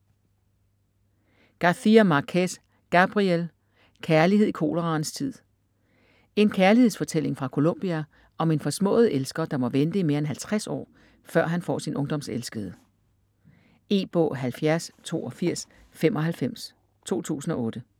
García Márquez, Gabriel: Kærlighed i koleraens tid En kærlighedsfortælling fra Colombia om en forsmået elsker, der må vente i mere end halvtreds år, før han får sin ungdomselskede. E-bog 708295 2008.